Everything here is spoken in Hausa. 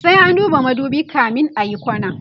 sai an duba madubi kamin ayi kwana